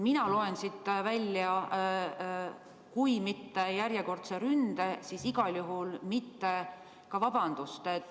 Mina loen siit välja kui mitte järjekordse ründe, siis igal juhul mitte ka vabandust.